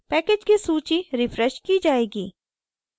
package की सूची refreshed की जाएगी